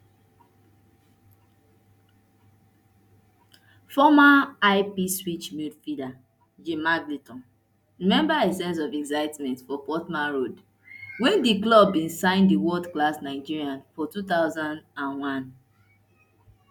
former ipswich midfielder jim magilton remember a sense of excitement for portman road wen di club bin sign di world class nigerian for two thousand and one